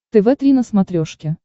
тв три на смотрешке